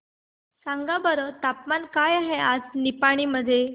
सांगा बरं तापमान काय आहे आज निपाणी मध्ये